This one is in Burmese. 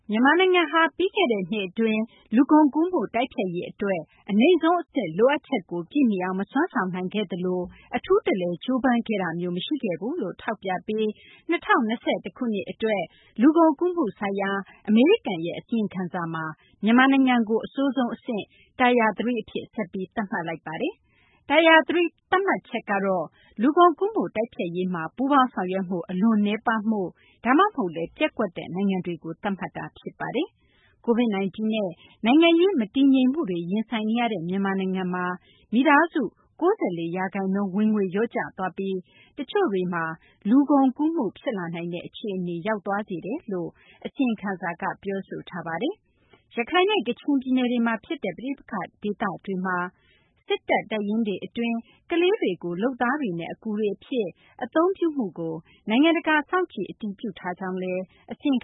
မြန်မာနိုင်ငံဟာ ပြီးခဲ့တဲ့ နှစ်အတွင်း လူကုန်ကူးမှု တိုက်ဖျက်ရေးအတွက် အနိမ့်ဆုံးအဆင့် လိုအပ်ချက်ကို ပြည့်မီအောင် မစွမ်းဆောင်နိုင်ခဲ့သလို အထူးတလည် ကြိုးပမ်းခဲ့တာမျိုး မရှိခဲ့ဘူးလို့ ထောက်ပြပြီး ၂ဝ၂၁ ခုနှစ် အတွက် လူကုန်ကူးမှုဆိုင်ရာ အမေရိကန် အစီရင်ခံစာမှာ မြန်မာနိုင်ငံကို အဆိုးဆုံးအဆင့် Tire 3 အဖြစ် ဆက်ပြီး သတ်မှတ်လိုက်ပါတယ်။ Tire 3 သတ်မှတ်ချက်ကတော့ လူကုန်ကူးမှု တိုက်ဖျက်ရေးမှာ ပူးပေါင်းဆောင်ရွက်မှု အလွန်နည်းပါးမှု ဒါမှမဟုတ်လည်း ပျက်ကွက်တဲ့ နိုင်ငံတွေကို သတ်မှတ်တာ ဖြစ်ပါတယ်။ Covid-19 နဲ့ နိုင်ငံရေး မတည်ငြိမ်မှုတွေ ရင်ဆိုင်နေရတဲ့ မြန်မာနိုင်ငံမှာ မိသားစု ၉၄ ရာခိုင်နှုန်းဟာ ဝင်ငွေ လျှော့ကျသွားပြီး တချို့တွေမှာ လိင်ကုန်ကူးမှု ဖြစ်လာနိုင်တဲ့ အခြေအနေကို ရောက်သွားစေတယ်လို့လည်း အစီရင်ခံစာက ပြောဆိုထားပါတယ်။ ရခိုင်နဲ့ ကချင်ပြည်နယ်တွေမှာဖြစ်တဲ့ ပဋိပက္ခ ဒေသတွေက စစ်တပ်တပ်ရင်းတွေအတွင်း ကလေးတွေကို လုပ်သားတွေနဲ့ အကူတွေအဖြစ် အသုံးပြုမှုကို နိုင်ငံတကာစောင့်ကြည့် အတည်ပြုထားကြောင်းလည်း အစီရင်